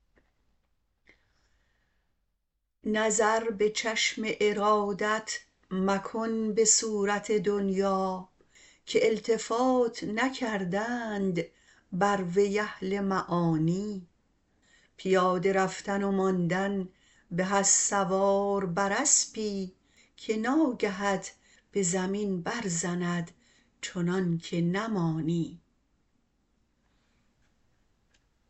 نظر به چشم ارادت مکن به صورت دنیا که التفات نکردند بر وی اهل معانی پیاده رفتن و ماندن به از سوار بر اسپی که ناگهت به زمین برزند چنانکه نمانی